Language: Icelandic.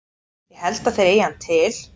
Ég held að þeir eigi hann til.